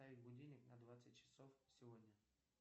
поставь будильник на двадцать часов сегодня